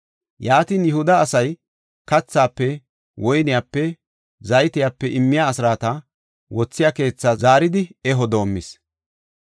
Yaatin Yihuda asay kathaafe, woyniyape, zaytiyape immiya asraata wothiya keethaa zaaridi eho doomis.